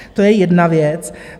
To je jedna věc.